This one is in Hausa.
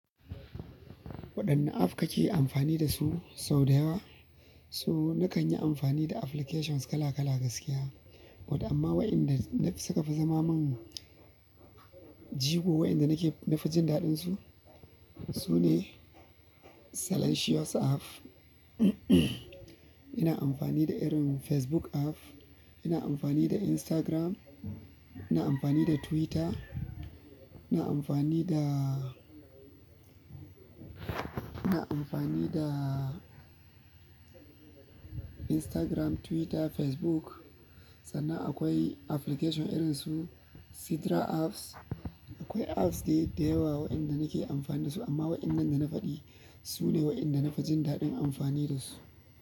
Waɗanne app kake amfani dasu sau da yawa? To na kan yi amfani da applications kala kala gaskiya, wanda amma waɗanda suka fi zama mun jigo, waƴanda nake na fi jin daɗinsu sune Silentious app. Ina amfani da irin Facebook app, ina amfani da Instagram, ina amfani da Twitter, ina amfani da, ina amfani da Instagram, Twitter, Facebook. Sannan akwai application irin su sidra app. Akwai apps dai da yawa waƴanda nake amfani dasu, amma waƴannan da na faɗi sune waƴanda na fi jin daɗin amfani dasu.